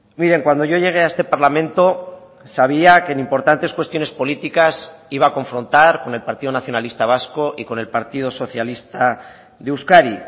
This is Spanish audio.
miren cuando yo llegué a este parlamento sabía que en importantes cuestiones políticas iba a confrontar con el partido nacionalista vasco y con el partido socialista de euskadi